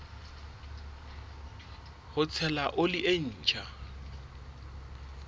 ho tshela oli e ntjha